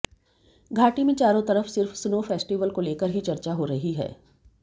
घाटी में चारों तरफ सिर्फ स्नो फेस्टिवल को लेकर ही चर्चा हो रही है